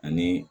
Ani